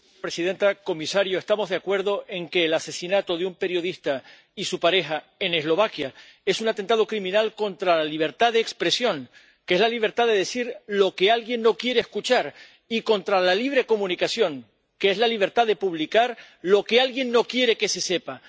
Señora presidenta, señor comisario, estamos de acuerdo en que el asesinato de un periodista y su pareja en Eslovaquia es un atentado criminal contra la libertad de expresión, que es la libertad de decir lo que alguien no quiere escuchar, y contra la libre comunicación, que es la libertad de publicar lo que alguien no quiere que se sepa.